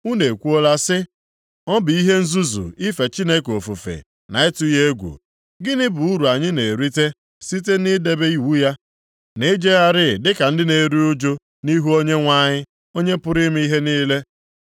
“Unu ekwuola sị, ‘Ọ bụ ihe nzuzu ife Chineke ofufe, na ịtụ ya egwu. Gịnị bụ uru anyị na-erite site nʼidebe iwu ya, na ijegharị dịka ndị na-eru ụjụ nʼihu Onyenwe anyị, Onye pụrụ ime ihe niile?